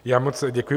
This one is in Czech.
Já moc děkuji.